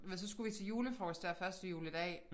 Du ved så skulle vi til julefrokost dér første juledag